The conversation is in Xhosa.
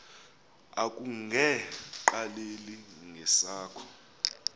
akunge qaleli ngesakho